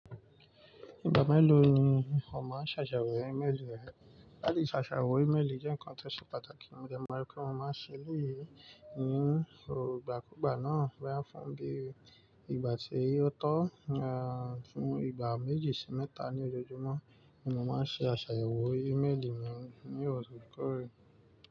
Ìgbà mélòó ni o máa ń ṣàṣàwọ̀ ímélù rẹ? Láti ṣàṣàwọ̀ ímélì jẹ́ ǹkan tó ṣe pàtàkì, mo dẹ maa ri pé mo máa ń ṣe elẹ́yì ni ìgbà kùugbá náà. Boya fún bíi ìgbà tí ó tó, à fún ìgbà méjì sí mẹ́ta ní ojoojúmọ́ ni mo máa ń ṣe àsàyewọ̀ ímeèlì mi ní ọ̀orẹ̀kọ̀ọ̀rẹ́.